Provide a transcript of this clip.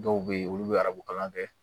Dɔw bɛ yen olu bɛ arabu kalan kɛ